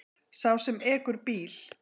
Sá sem ekur bíl.